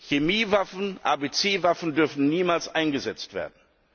Chemiewaffen, ABC Waffen dürfen niemals eingesetzt werden.